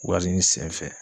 Wari ɲini senfɛ.